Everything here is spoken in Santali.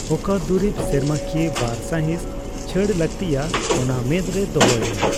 ᱚᱠᱟ ᱫᱩᱨᱤᱵ ᱥᱮᱨᱢᱟᱠᱤᱭᱟᱹ ᱵᱟᱨ ᱥᱟᱭᱦᱤᱸᱥ ᱪᱷᱟᱹᱲ ᱞᱟᱠᱛᱤᱭᱟ ᱚᱱᱟ ᱢᱮᱫᱨᱮ ᱨᱮ ᱫᱚᱦᱚᱭ ᱢᱮ ᱾